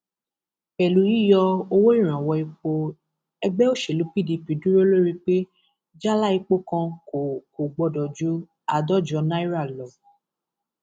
pẹlú yíyọ owó ìrànwọ epo ẹgbẹ òṣèlú pdp dúró lórí pé jálá epo kan kò kò gbọdọ ju àádọjọ náírà lọ